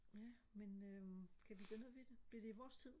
ja men øh kan vi gøre noget ved det bliver det i vores tid